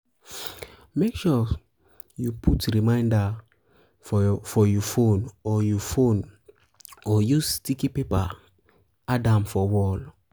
make sure you put reminder for you phone or you phone or use sticky paper add am for wall